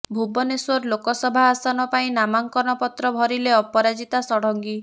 ଭୁବନେଶ୍ୱର ଲୋକସଭା ଆସନ ପାଇଁ ନାମାଙ୍କନ ପତ୍ର ଭରିଲେ ଅପରାଜିତା ଷଡଙ୍ଗୀ